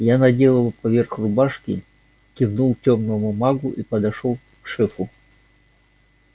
я надел его поверх рубашки кивнул тёмному магу и подошёл к шефу